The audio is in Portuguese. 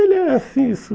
Ele era assim